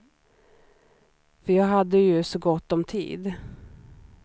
För jag hade ju så gott om tid.